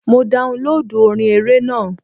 Mo daunlóòdù orin eré náà..